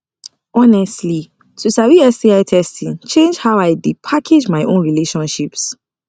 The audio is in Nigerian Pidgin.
honestly to sabi sti testing change how i dey package my own relationships